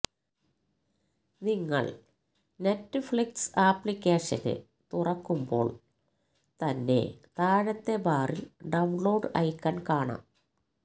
നിങ്ങള് Netflix application തുറക്കുമ്പോള് തന്നെ താഴത്തെ ബാറില് ഡൌണ്ലോഡ് ഐക്കണ് കാണാം